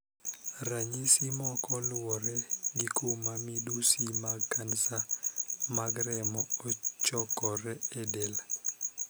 Ranyisi moko luwore gi kuma midusi mag kansa mag remo ochokoree e del.